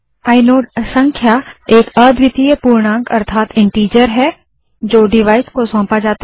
inode संख्या एक अद्वितीय पूर्णांक है जो डिवाइस को सौंपा जाता है